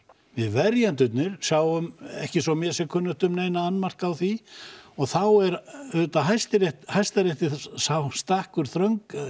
við verjendurnir sjáum ekki svo mér sé kunnugt um neina annmarka á því og þá er Hæstarétti Hæstarétti sá stakkur þröngt